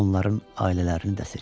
Onların ailələrini də seçir.